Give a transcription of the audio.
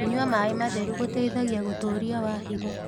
Kũnyua mae matherũ gũteĩthagĩa gũtũrĩa wa hĩgo